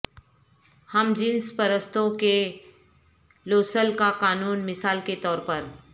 ہم جنس پرستوں کے لوسل کا قانون مثال کے طور پر